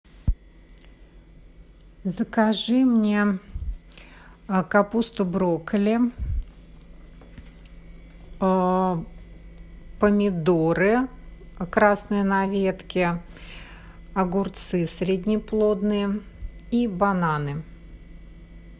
закажи мне капусту брокколи помидоры красные на ветке огурцы среднеплодные и бананы